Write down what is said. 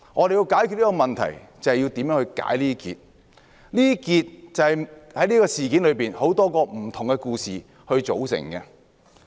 要解決當前問題，就要知道如何解結，而這些結是由眾多不同故事組成的。